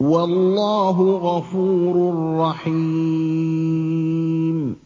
وَاللَّهُ غَفُورٌ رَّحِيمٌ